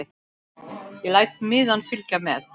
Ég læt miðann fylgja með.